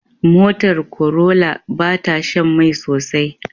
Motar Corolla bata Shan Mai sosai